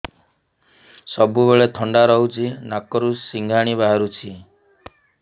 ସବୁବେଳେ ଥଣ୍ଡା ରହୁଛି ନାକରୁ ସିଙ୍ଗାଣି ବାହାରୁଚି